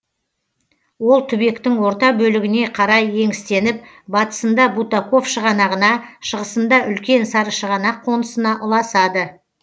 ол түбектің орта бөлігіне қарай еңістеніп батысында бутаков шығанағына шығысында үлкен сарышығанақ қонысына ұласады